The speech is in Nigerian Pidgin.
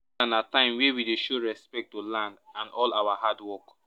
na time wey we dey show respect to land and all our hard work.